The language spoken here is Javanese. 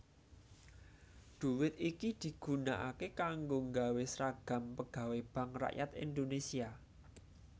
Dhuwit iki digunakaké kanggo nggawé sragam pegawai Bank Rakyat Indonesia